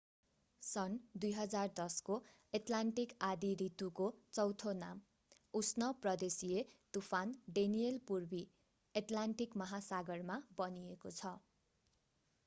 सन् 2010 को एट्लान्टिक आँधी ऋतुको चौथो नाम उष्ण प्रदेशिय तूफान डेनियल पूर्वी एट्लान्टिक महासागरमा बनिएको छ